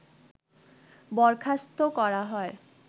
বরখাস্ত করা হয়